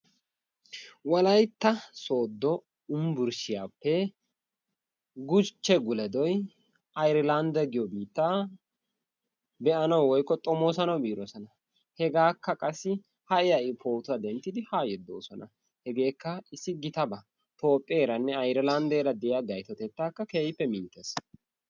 Wolaytta Sooddo Yunburshshiyaappe Guchche Gule doy AyreLandde giyo biittaa be'anawu woykko xomoossanawu biiroosona. Hegakka qassi ha'i ha'i pootuwaa denddidi yaa yeddoosona. Hegrekka issi gitaaba Toophpheeranne AyriLanddeera de'iyaa gayttotetta keehippe minttees.